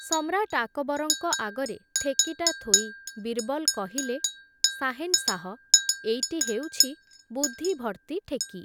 ସମ୍ରାଟ୍ ଆକ୍‌ବରଙ୍କ ଆଗରେ ଠେକିଟା ଥୋଇ, ବୀର୍‌ବଲ୍ କହିଲେ, ‘ସାହେନ୍‌ସାହ, ଏଇଟି ହେଉଛି, ବୁଦ୍ଧି ଭର୍ତ୍ତି ଠେକି ।